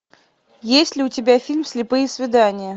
есть ли у тебя фильм слепые свидания